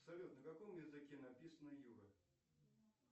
салют на каком языке написано юра